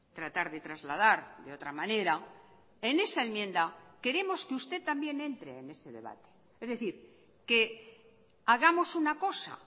tratar de trasladar de otra manera en esa enmienda queremos que usted también entre en ese debate es decir que hagamos una cosa